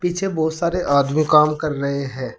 पीछे बहुत सारे आदमी काम कर रहे हैं।